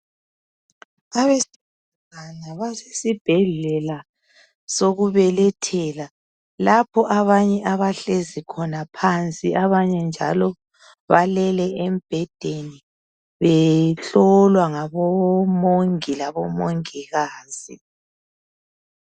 Abesifazane basesibhedlela sokubelethela lapho abanye bahlezi khona phansi abanye balele embhedeni behlolwa ngabo mongi labomongikazi.